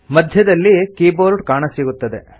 ಮಧ್ಯದಲ್ಲಿ ಕೀಬೋರ್ಡ್ ಕಾಣಸಿಗುತ್ತದೆ